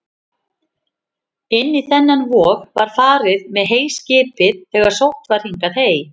Inn í þennan vog var farið með heyskipið þegar sótt var hingað hey.